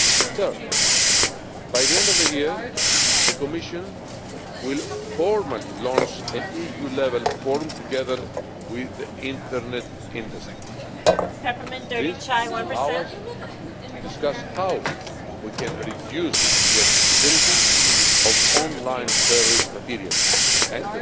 Third, by the end of the year, the Commission will formally launch an EU level forum together with the internet industry. This will allow us to discuss how we can reduce the accessibility of online terrorist material